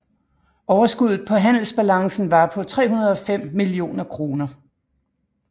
Overskuddet på handelsbalancen var på 305 millioner kroner